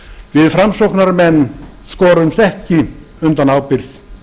við framsóknarmenn skorumst ekki undan ábyrgð